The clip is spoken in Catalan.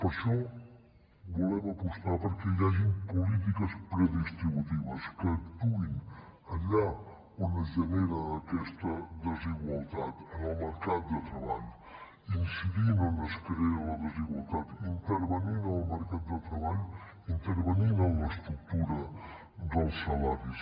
per això volem apostar perquè hi hagin polítiques predistributives que actuïn allà on es genera aquesta desigualtat en el mercat de treball incidint on es crea la desigualtat intervenint en el mercat de treball intervenint en l’estructura dels salaris